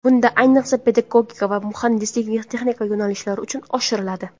Bunda, ayniqsa, pedagogika va muhandislik-texnika yo‘nalishlari uchun oshiriladi.